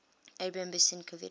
abram besicovitch